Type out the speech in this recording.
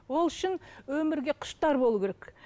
ол үшін өмірге құштар болу керек